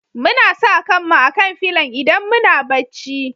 Muna sa kan mu a'kan filon idan muna bacci.